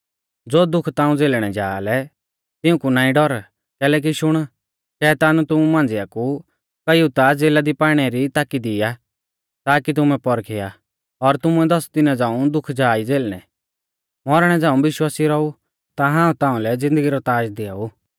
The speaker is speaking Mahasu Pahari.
ज़ो दुख ताऊं झ़ेलणै जा लै तिऊंकु नाईं डर कैलैकि शुण शैतान तुमु मांझ़िआ कु कईउ ता ज़ेला दी पाइणै री ताकि दी आ ताकी तुमै पौरखिया और तुमुऐ दस दिना झ़ांऊ दुख जा ई झ़ेलणै मौरणै झ़ांऊ विश्वासी रौऊ ता हाऊं ताउंलै ज़िन्दगी रौ ताज़ दिआऊ